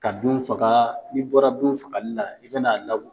Ka binw faga, n'i bɔra binw fagali la i be na